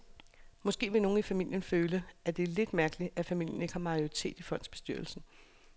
Måske vil nogle i familien føle, at det er lidt mærkeligt, at familien ikke har majoriteten i fondsbestyrelsen.